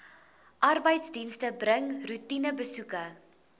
arbeidsdienste bring roetinebesoeke